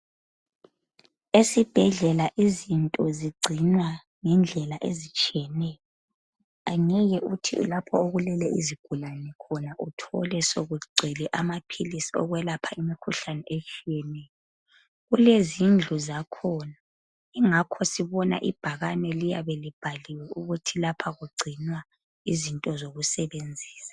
Esibhedlela izinto zigcinwa ngendlela ezitshiyeneyo angeke uthi lapha okulele isigulane khona uthole sokugcwele amaphilisi okwelapha imikhuhlane etshiyeneyo kulezindlu zakhona ingakho sibona ibhakane liyabe libhaliwe ukuthi lapha kugcinwa izinto zokusebenzisa.